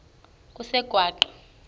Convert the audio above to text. kusengwaqa